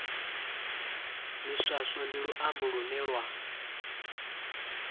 miswaswo ndi luambo lune lwa